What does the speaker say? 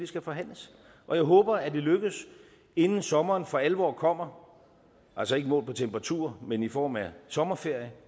skal forhandles jeg håber at det lykkes inden sommeren for alvor kommer altså ikke målt på temperatur men i form af sommerferie